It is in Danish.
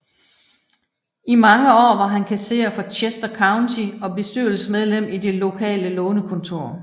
I mange år var han kasserer for Chester County og bestyrelsesmedlem i det lokale lånekontor